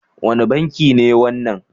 Wane banki ne wannan?